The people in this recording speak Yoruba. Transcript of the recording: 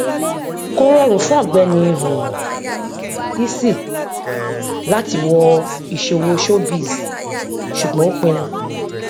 kò rọrùn fún ọgbẹni um easy láti wọ ìṣòwò showbiz ṣùgbọn ó pinnu